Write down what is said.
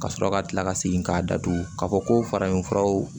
Ka sɔrɔ ka tila ka segin k'a datugu k'a fɔ ko farafin furaw